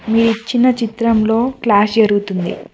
మీ ఇచ్చిన చిత్రంలో క్లాస్ జరుగుతుంది.